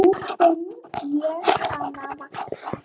Nú finn ég hana vaxa.